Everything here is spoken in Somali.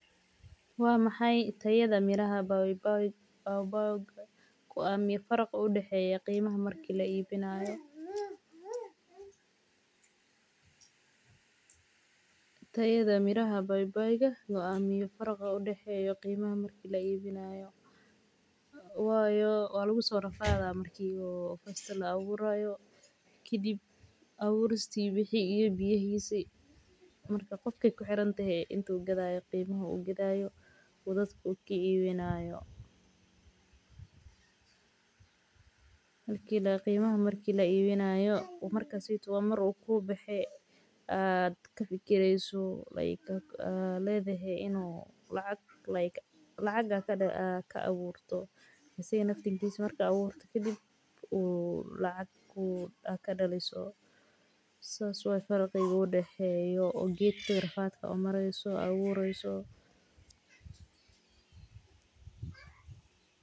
Wa maxay tirada Mirada baybay bayboyka Kura faraqa udahayo qimaha marka la iwiyohnayo tayada miraha bayboyka goamiyo daraqa udahayo qimaha marka la iwinayoh wayoo wa laku sorafada marki [fast] La awurayo kadhib awurista wixi Iyo biyahisa marka qofka ku xirantahay intu gadayo qimaha ugadayo kaa iwinayo qimaha marka Laa iwinayoh marka saiydo waa marka u ku baxay aad ka figirsoh aad ladahy [lake] ka awurto asaga naftirkis awurtoh kadhib uu lacag ad ka daliso saas waya farqiqa udahayoh ujadka Iyo rafadka umarisoh awurka awuraysoh